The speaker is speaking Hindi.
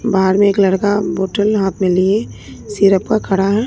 बाहर में एक लड़का बॉटल हाथ में लिए सिरप का खड़ा है।